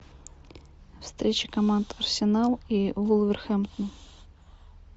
встреча команд арсенал и вулверхэмптон